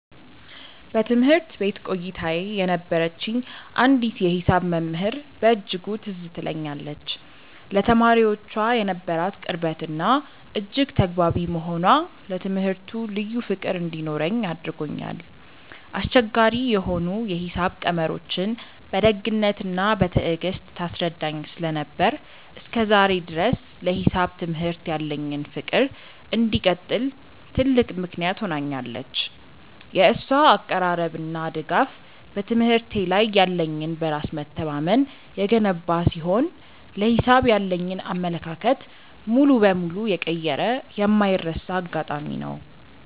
በትምህርት ቤት ቆይታዬ የነበረችኝ አንዲት የሂሳብ መምህር በእጅጉ ትዝ ትለኛለች፤ ለተማሪዎቿ የነበራት ቅርበትና እጅግ ተግባቢ መሆኗ ለትምህርቱ ልዩ ፍቅር እንዲኖረኝ አድርጎኛል። አስቸጋሪ የሆኑ የሂሳብ ቀመሮችን በደግነትና በትዕግስት ታስረዳኝ ስለነበር፣ እስከ ዛሬ ድረስ ለሂሳብ ትምህርት ያለኝ ፍቅር እንዲቀጥል ትልቅ ምክንያት ሆናኛለች። የእሷ አቀራረብና ድጋፍ በትምህርቴ ላይ ያለኝን በራስ መተማመን የገነባ ሲሆን፣ ለሂሳብ ያለኝን አመለካከት ሙሉ በሙሉ የቀየረ የማይረሳ አጋጣሚ ነው።